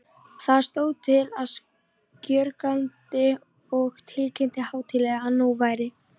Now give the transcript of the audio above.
Þar stóð hann skjögrandi og tilkynnti hátíðlega, að nú væri